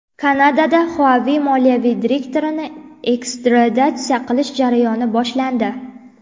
Kanadada Huawei moliyaviy direktorini ekstraditsiya qilish jarayoni boshlandi.